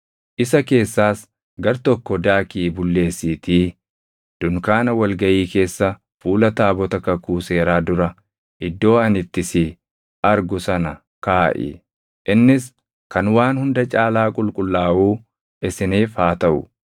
Isa keessaas gartokko daakii bulleessiitii dunkaana wal gaʼii keessa fuula taabota kakuu seeraa dura iddoo ani itti si argu sana kaaʼi. Innis kan waan hunda caalaa qulqullaaʼuu isiniif haa taʼu.